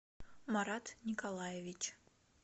марат николаевич